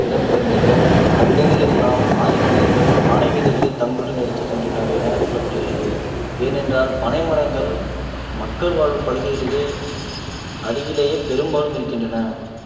இடம்பெயர்ந்ததோ அவ்விடங்களில் எல்லாம் ஆதிமனிதர்கள் பனை விதைகளைத் தங்களுடன் எடுத்துச் சென்றனர் என சொல்லப்படுகிறது ஏனென்றால் பனை மரங்கள் மக்கள் வாழும் பகுதிகளிலே அருகிலேயே பெரும்பாலும் இருக்கின்றன